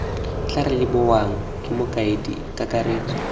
tla rebolwang ke mokaedi kakaretso